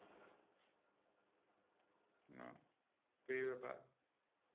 তো এই ব্যাপার